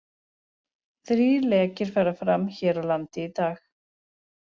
Þrír lekir fara fram hér á landi í dag.